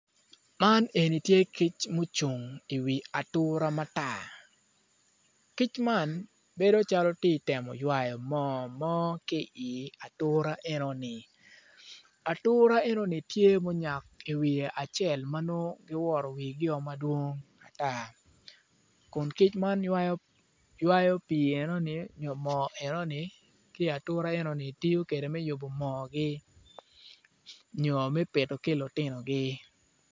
Man eni tye kic ma ocung iwi atura matar kic man bedo calo ti temo ywayo moo mo ki i atura enoni atura enoni tye ma onyak iwi acel ma nongo guwoto wigio madwong ata kun kci man ywayo pii enoni nyo moo enoni ki i atura enoni tiyo kwede me yubo moogi nyo me pito ki lutinogi.